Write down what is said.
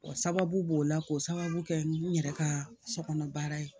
O sababu b'o la k'o sababu kɛ n yɛrɛ ka sokɔnɔ baara ye